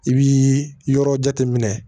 I bi yɔrɔ jateminɛ